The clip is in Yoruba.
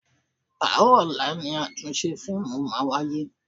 Àárọ̀ ọ̀la ni àtúnṣe fíìmù máa wáyé.